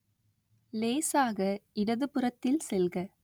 லேசாக இடதுபுறத்தில் செல்க